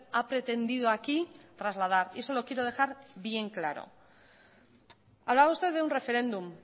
ha pretendido aquí trasladar y eso lo quiero dejar bien claro hablaba usted de un referéndum